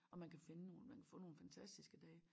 Og man kan finde nogen man kan få nogen fantastiske dage